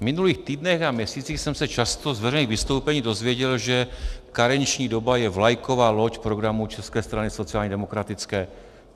V minulých týdnech a měsících jsem se často z veřejných vystoupení dozvěděl, že karenční doba je vlajková loď programu České strany sociálně demokratické.